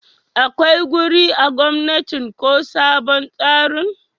akwai wuri a gomnatin ko sabon tsarin?